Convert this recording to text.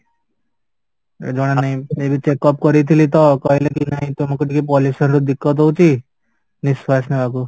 ଜଣା ନାହିଁ ଏବେ checkup କରେଇଥିଲି ତ କହିଲେକି ନାଇଁ ତମକୁ ଟିକେ pollution ରୁ ହଉଚି ନିଶ୍ୱାସ ନବାକୁ